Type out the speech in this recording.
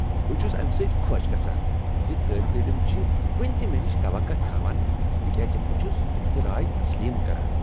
بہٕ چھس امہ سۭتۍ خۄش گژھان ز طٲلب علم چھ وٕنہ تہ مےٚ نش توقع تھوان تکیازِ بہ چھُس تہنز راے تسلیم کران۔